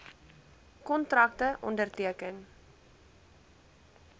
kontrakte onderteken